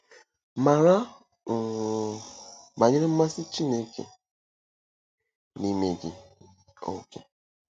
Mara um banyere mmasị Chineke n'ime gị. um